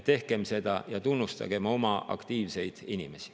Tehkem seda ja tunnustagem oma aktiivseid inimesi.